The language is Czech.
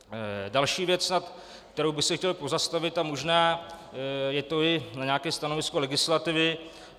Další věc, nad kterou bych se chtěl pozastavit, a možná je to i na nějaké stanovisko legislativy.